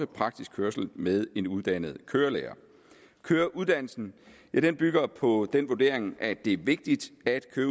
praktisk kørsel med en uddannet kørelærer køreuddannelsen bygger på den vurdering at det er vigtigt at